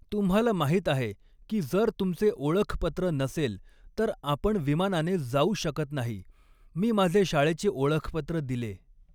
तुम्हाला माहीत आहे की जर तुमचे ओळखपत्र नसेल तर आपण विमानाने जाऊ शकत नाही मी माझे शाळेचे ऒळखपत्र दिले.